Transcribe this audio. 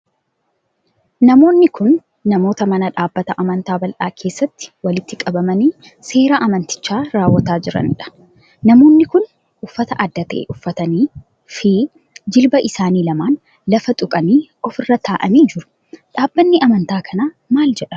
Namoonni kun, namoota mana dhaabbata amantaa bal'aa keessatti walitti qabamanii seera amantichaa raawwataa jiranii dha. Namoonni kun uffata adda ta'e uffatanii fi jilba isaanii lamaan lafaan tuqanii of irra ta'anii jiru. Dhaabbanni amantaa kanaa maal jedhama?